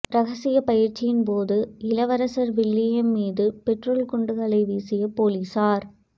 ரகசிய பயிற்சியின்போது இளவரசர் வில்லியம் மீது பெட்ரோல் குண்டுகளை வீசிய போலீசார்